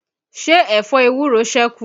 Ṣẹ́ ẹ̀fọ ewúro sẹ́kù?